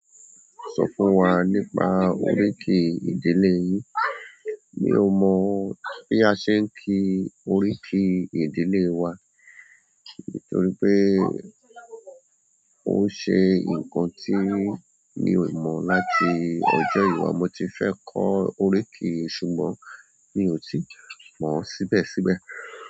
Sọ fún wa nípa oríkì ìdílé yín. Mi ò mọ̀ bí a ṣe ń kí oríkì ìdílé wa, nítorí pé ó ṣe nǹkan tí mi ò mọ̀ láti ọjọ́ ìwà. Mo ti fẹ́ kọ oríkì, ṣùgbọ́n mi ò tí mọ̀ síbẹ̀síbẹ̀.